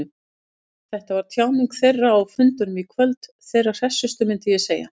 Þetta var tjáning þeirra, á fundunum á kvöldin, þeirra hressustu, myndi ég segja.